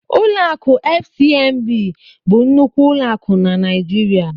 Ụlọ akụ FCMB bụ nnukwu ụlọ akụ na Naijiria.